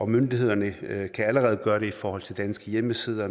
myndighederne kan allerede gøre det i forhold til danske hjemmesider